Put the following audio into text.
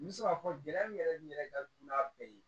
N bɛ se k'a fɔ gɛlɛya min yɛrɛ n yɛrɛ ka dunna bɛɛ ye